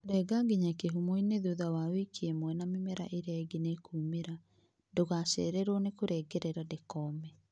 renga nginya kĩhumoinĩ thutha wa wiki ĩmwe na mĩmera ĩngĩ nĩĩkumĩra. Ndũgacererwo nï kũrengerera ndĩkoome